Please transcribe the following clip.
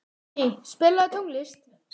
Valný, spilaðu tónlist.